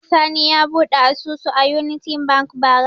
Sani ya buɗe asusu a Unity Bank bara.